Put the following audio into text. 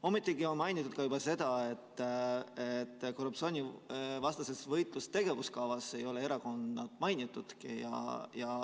Ometi on mainitud ka seda, et korruptsioonivastase võitluse tegevuskavas ei ole erakondi mainitudki.